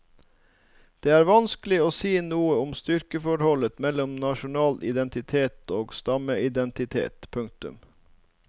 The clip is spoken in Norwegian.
Det er vanskelig å si noe om styrkeforholdet mellom nasjonal identitet og stammeidentitet. punktum